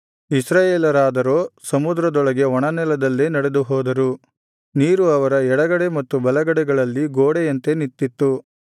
ಇಸ್ರಾಯೇಲರಾದರೋ ಸಮುದ್ರದೊಳಗೆ ಒಣನೆಲದಲ್ಲೇ ನಡೆದುಹೋದರು ನೀರು ಅವರ ಎಡಗಡೆ ಮತ್ತು ಬಲಗಡೆಗಳಲ್ಲಿ ಗೋಡೆಯಂತೆ ನಿಂತಿತ್ತು